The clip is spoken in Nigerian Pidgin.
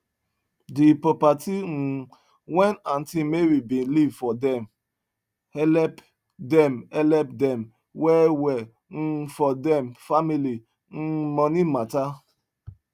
the properti um wen auntie mary bin leave for dem helep dem helep dem well well um for dem family um moni mata